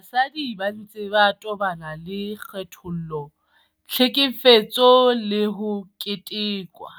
Basadi ba ntse ba tobana le kgethollo, tlhekefetso le ho ketekwa,